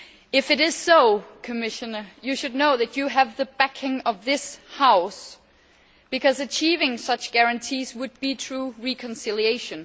If this is so, Commissioner, you should know that you have the backing of this House, because achieving such guarantees would be true reconciliation.